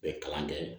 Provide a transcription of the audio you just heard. U bɛ kalan kɛ